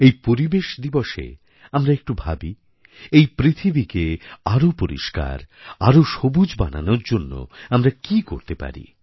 এই পরিবেশ দিবসএ আমরা একটু ভাবি এই পৃথিবীকে আরও পরিষ্কার আরও সবুজ বানানোর জন্য আমরা কী করতে পারি